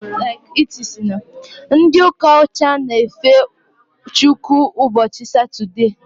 Ndị ụka ọcha na efe Chukwu ụbọchị Satode